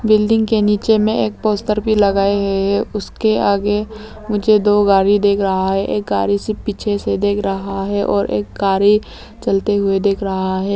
Building के नीचे में एक पोस्टर भी लगाए हैं उसके आगे मुझे दो गाड़ी देख रहा है एक गाड़ी से पीछे से देख रहा है और एक गाड़ी चलते हुए देख रहा है।